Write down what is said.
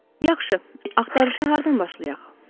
Yaxşı, axtarışa hardan başlayaq?